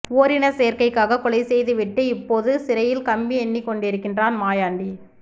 ஓரினச்சேர்க்கைக்காக கொலை செய்து விட்டு இப்போது சிறையில் கம்பி எண்ணிக்கொண்டிருக்கிறான் மாயாண்டி